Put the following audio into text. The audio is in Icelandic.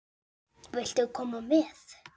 Viltu koma með?